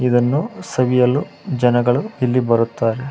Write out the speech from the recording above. ಇದನ್ನು ಸವಿಯಲು ಜನಗಳು ಇಲ್ಲಿ ಬರುತ್ತಾರೆ.